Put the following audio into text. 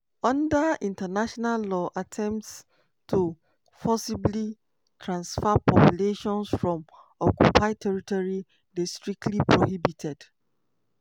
under international law attempts to forcibly transfer populations from occupied territory dey strictly prohibited.